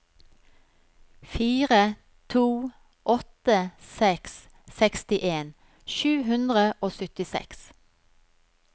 fire to åtte seks sekstien sju hundre og syttiseks